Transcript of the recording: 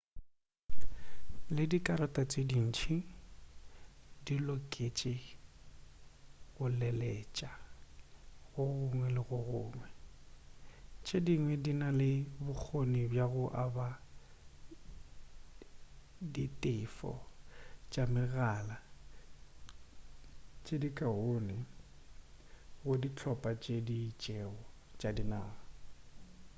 le dikarata tše dintši di loketše go leletša go gongwe le go gongwe tše dingwe di na le bokgoni bja go aba ditefo tša megala tše dikaone go dihlopha tše di itšego tša dinaga